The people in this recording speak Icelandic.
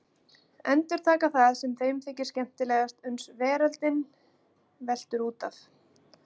Endurtaka það sem þeim þykir skemmtilegt uns veröldin veltur út af.